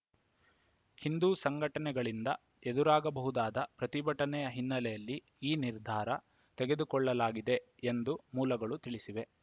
ಹಿಂದೂ ಸಂಘಟನೆಗಳಿಂದ ಎದುರಾಗಬಹುದಾದ ಪ್ರತಿಭಟನೆಯ ಹಿನ್ನಲೆಯಲ್ಲಿ ಈ ನಿರ್ಧಾರ ತೆಗೆದುಕೊಳ್ಳಲಾಗಿದೆ ಎಂದು ಮೂಲಗಳು ತಿಳಿಸಿವೆ